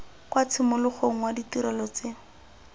kwa tshimologong wa ditirelo tse